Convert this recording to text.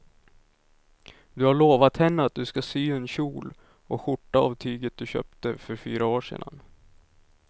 Du har lovat henne att du ska sy en kjol och skjorta av tyget du köpte för fyra år sedan.